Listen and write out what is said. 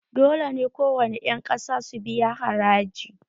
Dole ne kowane ƴan ƙasa su biya haraji!